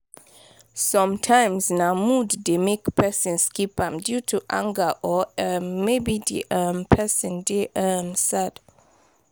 sometimes na mood de make person skip am due to anger or um maybe di um person de um sad